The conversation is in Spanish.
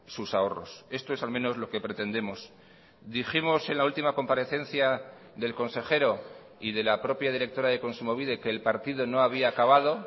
sus ahorros esto es al menos lo que pretendemos dijimos en la última comparecencia del consejero y de la propia directora de kontsumobide que el partido no había acabado